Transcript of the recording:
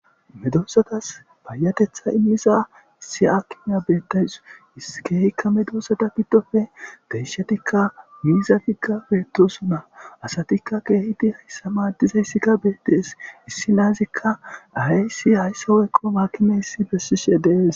Medosatas paayatetha immiza isi akimiya bettays iskeehikka medosada giddofe deyshatikka miizagigga beettosona asatikka keehiti hayssa maaddizayssikka beetdees issi naazikka aysi hayssa hoyqqo maakimeissi bessishe dees.